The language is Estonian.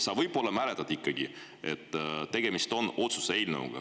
Sa võib-olla ikkagi mäletad, et tegemist on otsuse eelnõuga.